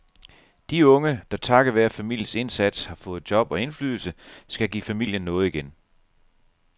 De unge, der takket være familiens indsats har fået job og indflydelse, skal give familien noget igen.